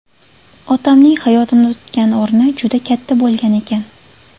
Otamning hayotimda tutgan o‘rni juda katta bo‘lgan ekan.